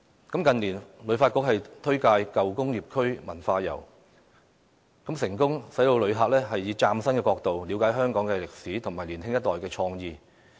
近年，旅遊發展局推介舊工業區文化遊，成功讓旅客以嶄新角度了解香港的歷史和年輕一代的創意。